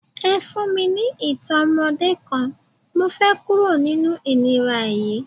Ẹ fún mi ní ìtàn ọmọdé kan, mo fẹ́ kúrò nínú ìnira yí.